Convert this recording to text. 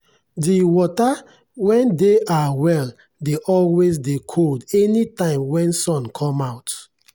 de wata wen dey our well dey always dey cold anytime wen sun come out.